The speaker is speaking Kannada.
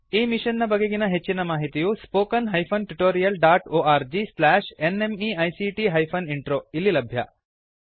ಈ ಮಿಶನ್ ನ ಬಗೆಗಿನ ಹೆಚ್ಚಿನ ಮಾಹಿತಿಯು spoken hyphen tutorial dot org slash NMEICT hyphen intro ದಲ್ಲಿ ಲಭ್ಯ